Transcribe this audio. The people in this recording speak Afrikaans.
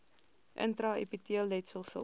intra epiteelletsel sil